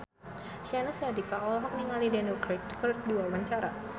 Syahnaz Sadiqah olohok ningali Daniel Craig keur diwawancara